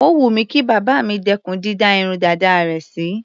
Ó wù mí kí bàbá mi dẹ́kùn dídá irun dàda rẹ̀ sí.